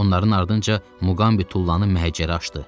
Onların ardınca Muqambi tullanıb məhəccərə açdı.